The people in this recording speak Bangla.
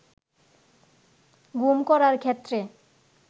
গুম করার ক্ষেত্রে